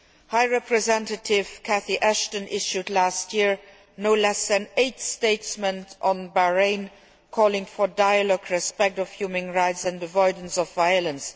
High Representative Catherine Ashton issued last year no less than eight statements on Bahrain calling for dialogue, respect for human rights and avoidance of violence.